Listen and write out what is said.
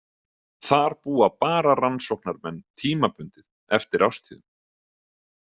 Þar búa bara rannsóknarmenn tímabundið eftir árstíðum.